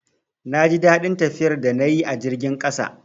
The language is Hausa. Na ji daɗin tafiyar da na yi a jirgin ƙasa